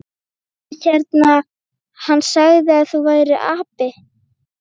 Hann hérna. hann sagði að þú værir api.